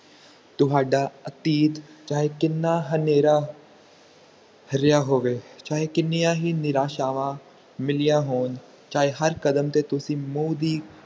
ਤੁਹਾਡਾ ਅਤੀਤ ਚਾਹੇ ਕਿੰਨਾ ਹਨੇਰਾ ਰਿਹਾ ਹੋਵੇ ਚਾਹੇ ਕਿੰਨੀਆਂ ਹੀ ਨਿਰਸ਼ਾਵਾਂ ਮਿਲਿਆ ਹੋਣ ਚਾਹੇ ਹਰ ਕਦਮ ਤੇ ਤੁਸੀਂ ਮੂੰਹ ਦੀ